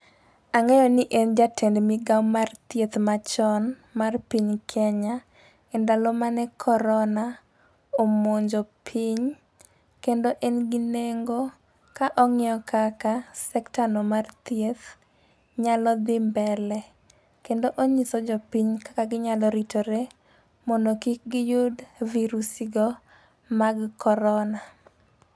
Ang'eyo ni en jatend migao mar thieth machon mar piny Kenya e ndalo mane corona omonjo piny. Kendo en gi nengo, ka ong'iyo kaka sektano mar thieth nyalo dhi mbele kendo onyiso jopiny kaka ginyalo ritore ,mondo kik giyud virusi go mag corona.